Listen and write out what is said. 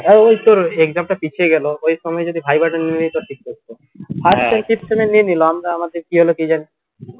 এই তোর exam টা পিছিয়ে গেলো ওই সময় যদি viva টা নিয়ে নিতো ঠিক থাকতো নিয়ে নিলো আমরা আমাদের কি হলো কিজানি